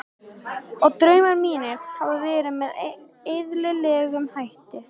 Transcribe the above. Og draumar mínir hafa verið með eðlilegum hætti.